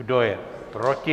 Kdo je proti?